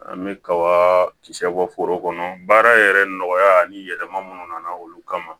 An bɛ kaba kisɛ bɔ foro kɔnɔ baara yɛrɛ nɔgɔya ni yɛlɛma minnu nana olu kama